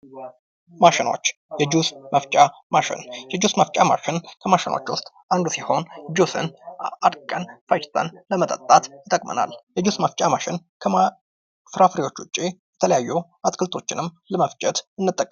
ማሽኖች የፈ የጁስ መፍጫ ማሽን የጁስ መፍጫ ማሽን ኮሚሽኖች ውስጥ አንዱ ሲሆን ጁስን አድቀን ፈጭተን ለመጠጣት ይጠቅመናል። የጁስ መፍጫ ማሽን ከፍራፍሬዎች ወጭ ሌሎች አትክልቶችንም ለመፍጨት እንጠቀምበታለን።